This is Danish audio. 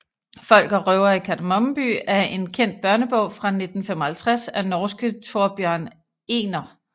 Folk og røvere i Kardemomme by er en kendt børnebog fra 1955 af norske Thorbjørn Egner